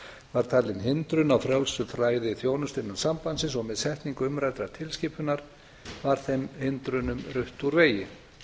var talin hindrun á frjálsu flæði þjónustu innan sambandsins og með setningu umræddrar tilskipunar var þeim hindrunum rutt úr vegi